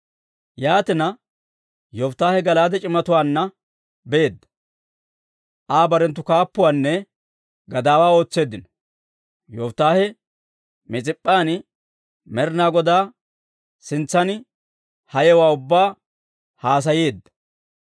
Yaatina, Yofittaahe Gala'aade c'imatuwaanna beedda; Aa barenttu kaappuwaanne gadaawaa ootseeddino. Yofittaahe Mis'ip'p'an Med'inaa Godaa sintsan ha yewuwaa ubbaa haasayeedda.